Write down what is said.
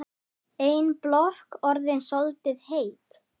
Ein blokk orðin soldið heit.